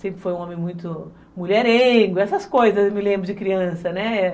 Sempre foi um homem muito mulherengo, essas coisas eu me lembro de criança, né